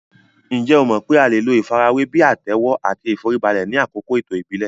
Ǹjẹ́ o mọ̀ pé a lè lo ìfarajúwe bíi àtẹ́wọ́ àti ìforíbalẹ̀ ni àkókò ètò ìbílẹ̀